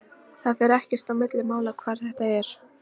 Það fer ekkert á milli mála hvar þetta er.